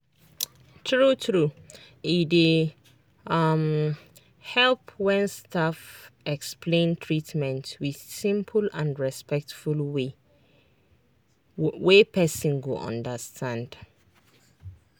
true true e dey um help when staff explain treatment with simple and respectful way wey person go understand.